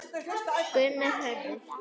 Gunnar Hörður.